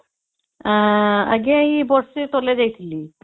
ଆଂଜ୍ଞା ଏଇ ବର୍ଷେ ତଳେ ଯାଇଥିଲି